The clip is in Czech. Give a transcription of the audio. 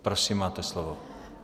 Prosím máte slovo.